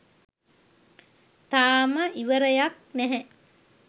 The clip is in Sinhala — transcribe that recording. තාම ඉවරයක් නැහැ